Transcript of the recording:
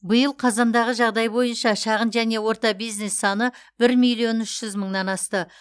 биыл қазандағы жағдай бойынша шағын және орта бизнес саны бір миллион үш жүз мыңнан асты